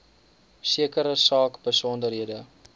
sekere saak besonderhede